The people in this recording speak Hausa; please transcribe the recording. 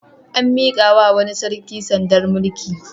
An miƙawa wani sarki sandar mulki.